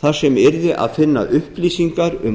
þar sem yrði að finna upplýsingar um